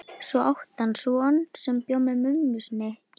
Svo átti hann son sem bjó með mömmu sinni í